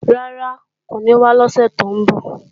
Rárá, kò ní wá lọ́sè tó ń bọ̀.